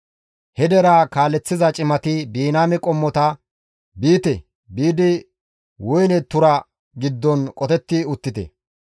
He deraa kaaleththiza cimati Biniyaame qommota, «Biite; biidi woyne tura giddon qotetti uttite!